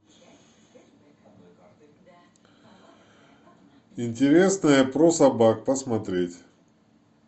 интересное про собак посмотреть